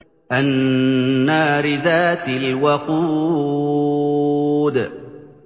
النَّارِ ذَاتِ الْوَقُودِ